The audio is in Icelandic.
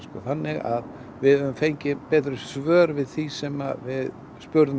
þannig að við hefðum fengið betri svör við því sem við spurðum